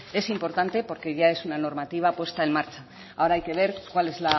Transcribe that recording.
es importante porque ya es una normativa puesta en marcha ahora hay que ver cuál es